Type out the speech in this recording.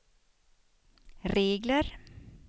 regler